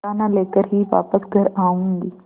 दाना लेकर ही वापस घर आऊँगी